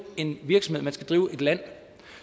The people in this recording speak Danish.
en virksomhed man skal drive et land